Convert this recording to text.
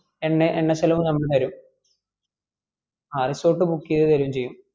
എണ്ണ എണ്ണ ചെലവ് company തെരും ആ resort book ചെയ്ത് തരോം ചെയ്യും